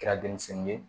Kɛra denmisɛnnin ye